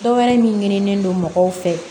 Dɔwɛrɛ minnen don mɔgɔw fɛ